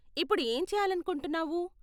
ఇప్పుడు ఏం చేయాలనుకుంటున్నావు?